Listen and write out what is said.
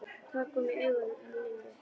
Tár komu í augun á Lillu.